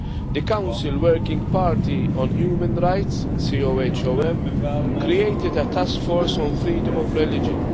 The Council's Working Party on Human Rights created a taskforce on freedom of religion.